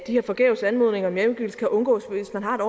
her forgæves anmodninger om hjemgivelse kan undgås hvis man har et